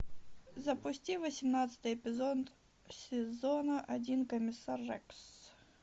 запусти восемнадцатый эпизод сезона один комиссар рекс